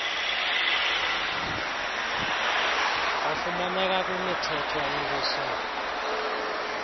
ofumaneka kwimithetho ewiswe